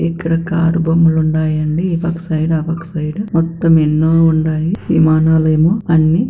ఇక్కడ కారు బొమ్మలు ఉన్నాయండి. ఇవొక సైడు అవొక ఒక సైడు మొత్తం ఎన్నో ఉన్నాయి. విమానాలు ఏమో అన్ని --